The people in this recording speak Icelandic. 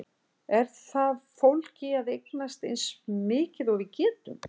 Er það fólgið í að eignast eins mikið og við getum?